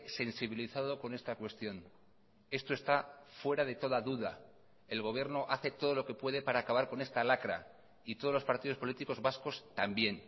sensibilizado con esta cuestión esto está fuera de toda duda el gobierno hace todo lo que puede para acabar con esta lacra y todos los partidos políticos vascos también